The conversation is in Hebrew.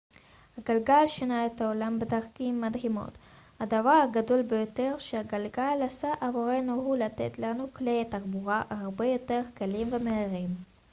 הגלגל שינה את העולם בדרכים מדהימות הדבר הגדול ביותר שהגלגל עשה עבורנו הוא לתת לנו כלי תחבורה הרבה יותר קלים ומהירים